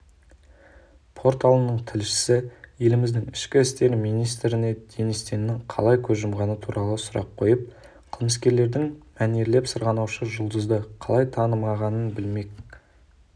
порталының тілшісі еліміздің ішкі істер министріне денис теннің қалай көз жұмғаны туралы сұрақ қойып қылмыскерлердің мәнерлеп сырғанаушы жұлдызды қалай танымағанын білмек